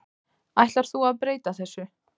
Ætlar þú að breyta þessu?